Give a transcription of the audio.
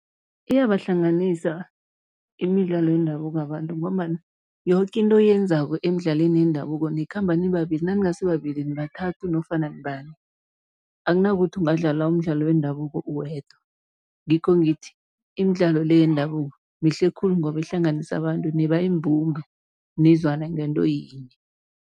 Iyabahlanganisa imidlalo yendabuko abantu ngombana yoke into oyenzako emidlalweni yendabuko, nikhamba nibabili naningasibabili nibathathu nofana nibane, akunakuthi ungadlala umdlalo wendabuko uwedwa, ngikho ngithi, imidlalo le yendabuko mihle khulu ngoba ihlanganisa abantu niba yimbumba nizwana ngento yinye.